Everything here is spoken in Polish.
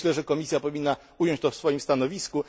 Myślę, że Komisja powinna ująć to w swoim stanowisku.